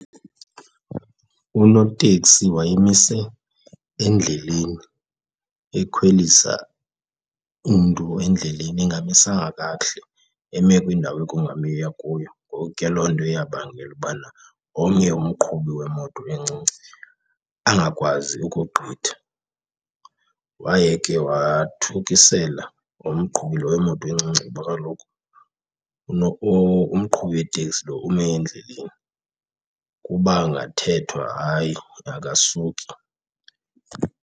Unoteksi wayemise endleleni ekhwelisa umntu endleleni engamisanga kakuhle, eme kwindawo ekungamiwa kuyo, ngoku ke loo nto yabangela ubana omnye umqhubi wemoto encinci angakwazi ukugqitha. Waye ke wathukisela umqhubi lo wemoto encinci kuba kaloku umqhubi weteksi lo ume endleleni, kuba ngathethwa hayi akasuki.